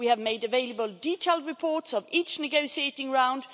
We have made available detailed reports of each negotiating round.